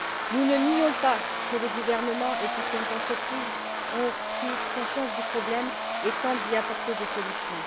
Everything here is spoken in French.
Nous ne nions pas que le gouvernement et certaines entreprises ont pris conscience du problème et tentent d'y apporter des solutions.